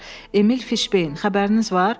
Emil Fiṣbeyn, xəbəriniz var?